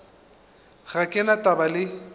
ga ke na taba le